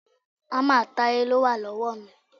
Hámà Táyé ló wà lọ́wọ́ mi.